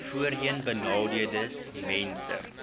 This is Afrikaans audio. voorheenbenadeeldesmense